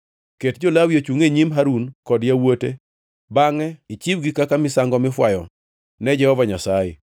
Ket jo-Lawi ochungʼ e nyim Harun kod yawuote bangʼe ichiwgi kaka misango mifwayo ne Jehova Nyasaye.